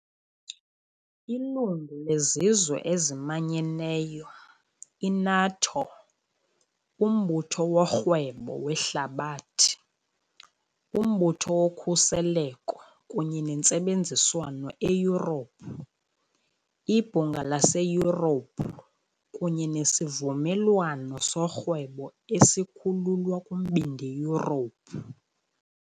Lilungu leZizwe eziManyeneyo, i-NATO, uMbutho woRhwebo weHlabathi, uMbutho woKhuseleko kunye neNtsebenziswano eYurophu, iBhunga laseYurophu, kunye neSivumelwano soRhwebo esiKhululwa kuMbindi Yurophu .